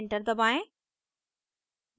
enter दबाएं